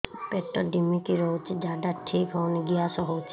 ପେଟ ଢିମିକି ରହୁଛି ଝାଡା ଠିକ୍ ହଉନି ଗ୍ୟାସ ହଉଚି